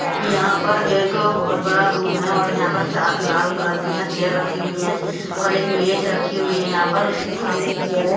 यहाँ पर एक बोहोत बड़ा रूम है और यह पर चा- लाल कलर की यहाँ चेयर रखी हुई है और एक मेज रखी हुई है यहाँ पर उसके सामने एक चेयर है।